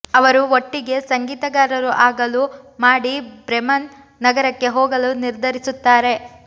ಅವರು ಒಟ್ಟಿಗೆ ಸಂಗೀತಗಾರರು ಆಗಲು ಮಾಡಿ ಬ್ರೆಮೆನ್ ನಗರಕ್ಕೆ ಹೋಗಲು ನಿರ್ಧರಿಸುತ್ತಾರೆ